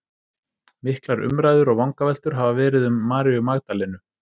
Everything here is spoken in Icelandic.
Miklar umræður og vangaveltur hafa verið um Maríu Magdalenu.